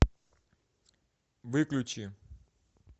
выключи